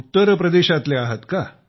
उत्तर प्रदेशातले आहात का